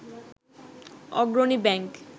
Agrani bank